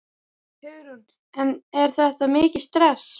Hugrún: En er þetta mikið stress?